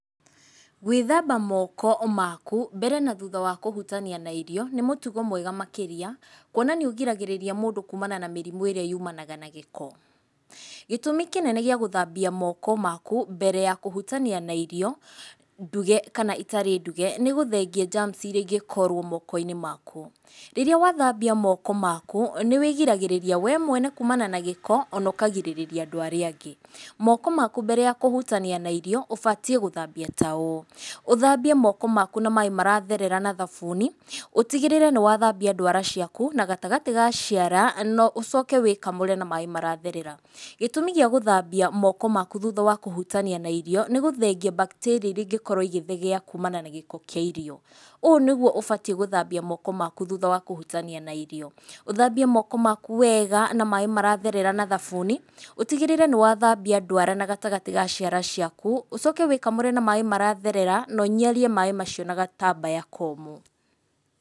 Gwĩthamba moko maku mbere na thutha wa kũhutania na irio, nĩ mũtugo mwega makĩria kuona nĩ ũgiragĩrĩria mũndũ kuumana na mĩrimũ ĩrĩa yumanaga na gĩko. Gĩtũmi kĩnene gĩa gũthambia moko maku mbere ya kũhutania na irio nduge kana itarĩ nduge, nĩ gũthengia germs irĩa ingĩkorwo moko-inĩ maku. Rĩrĩa wathambia moko maku nĩ wĩgiragĩrĩria we mwene kumana na gĩko, ona ũkagirĩrĩria andũ arĩa angĩ. Moko maku mbere ya kũhutania na irio ũbatiĩ gũthambia ta ũũ, ũthambie moko maku na maĩ maratherera na thabuni, ũtigĩrĩre nĩ wathambia ndwara ciaku na gatagatĩ ga ciara na ũcoke wĩkamũre na maĩ maratherera. Gĩtumi gĩa gũthambia moko maku thutha wa kũhutania na irio nĩ gũthengia bacteria irĩa cingĩkorwo igĩthegea kuumana na gĩko kĩa irio. Ũũ nĩguo ũbatiĩ gũthambia moko maku thutha wa kũhutania na irio. Ũthambie moko maku wega na maĩ maratherera na thabuni, ũtigĩrĩre nĩ wathambia ndwara na gatagatĩ ga ciara ciaku, ũcoke wĩ kamũre na maĩ maratherera na ũniarie maĩ macio na gatambaya komũ.